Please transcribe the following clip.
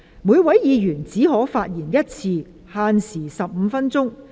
每位議員只可發言一次，限時15分鐘。